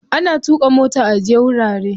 Ana tuƙa mota aje wurare.